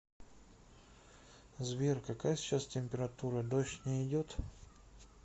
сбер какая сейчас температура дождь не идет